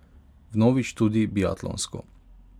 Vnovič tudi biatlonsko.